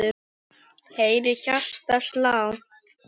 heyri hjartað slá.